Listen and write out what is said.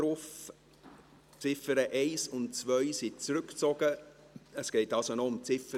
Die Ziffern 1 und 2 wurden zurückgezogen, somit geht es noch um die Ziffer